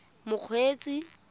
mokgweetsi